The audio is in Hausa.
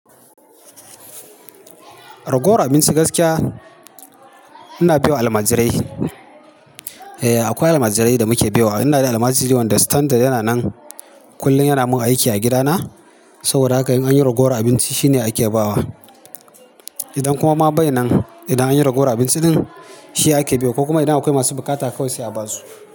Ragowar abinci gaskiya ina baiwa almajirai. Eh akwai almajirai da muke baiwa. Ina da almajiri wanda standard yana nan kullum yana mun aiki a gida na saboda haka in anyi ragowar abinci shi ne ake bawa. Idan kuma ma bai nan idan anyi ragowar abinci ɗin shi ake baiwa ko kuma idan akwai masu buƙata kawai sai aba su.